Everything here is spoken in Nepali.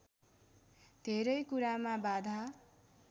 धेरै कुरामा बाधा